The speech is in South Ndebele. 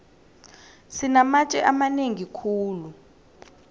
sinamatje amanengi khulu